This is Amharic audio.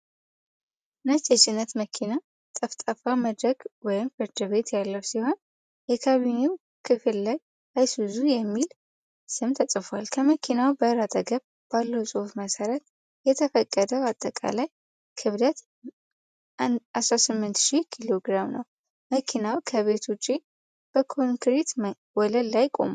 ነጭ የጭነት መኪና ጠፍጣፋ መድረክ (ፍላትቤድ) ያለው ሲሆን፣ የካቢኔው ክፍል ላይ "ISUZU" የሚል ስም ተጽፏል። ከመኪናው በር አጠገብ ባለው ጽሑፍ መሠረት፣ የተፈቀደው አጠቃላይ ክብደት 18,000 ኪሎግራም ነው። መኪናው ከቤት ውጭ፣ በኮንክሪት ወለል ላይ ቆሟል።